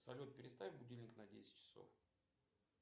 салют переставь будильник на десять часов